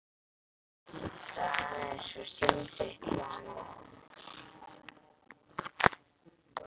Hinkraðu aðeins og syngdu eitt lag enn.